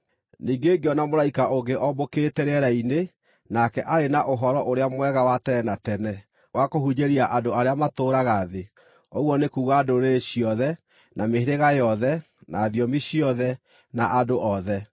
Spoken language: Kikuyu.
Ningĩ ngĩona mũraika ũngĩ oombũkĩte rĩera-inĩ, nake aarĩ na Ũhoro-ũrĩa-Mwega wa tene na tene wa kũhunjĩria andũ arĩa matũũraga thĩ, ũguo nĩ kuuga ndũrĩrĩ ciothe, na mĩhĩrĩga yothe, na thiomi ciothe, na andũ othe.